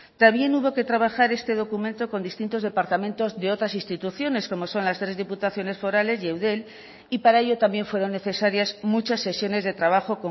también hubo que trabajar este documento con distintos departamentos de otras instituciones como son las tres diputaciones forales y eudel y para ello también fueron necesarias muchas sesiones de trabajo